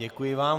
Děkuji vám.